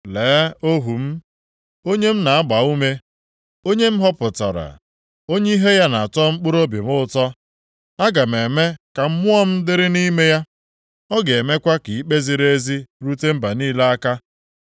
“Lee ohu m, onye m na-agba ume, onye m họpụtara, onye ihe ya na-atọ mkpụrụobi m ụtọ. Aga m eme ka Mmụọ m dịrị nʼime ya. Ọ ga-emekwa ka ikpe ziri ezi rute mba niile aka.